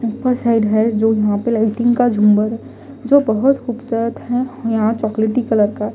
ऊपर साइड है जो यहां पे लाइटिंग का झूमर जो बहुत खूबसूरत है यहां चॉकलेटी कलर का --